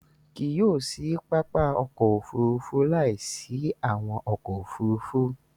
Kí yio sì pápá ọkọ̀ òfurufú láì sí awọn ọkọ̀ òfurufú